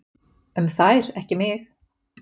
um þær, ekki mig.